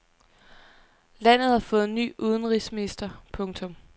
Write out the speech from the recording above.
Landet har fået ny udenrigsminister. punktum